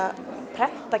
prenta